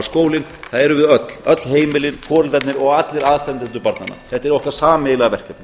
skólinn það erum við öll öll heimilin foreldrarnir og allir aðstandendur barnanna þetta er okkar sameiginlega verkefni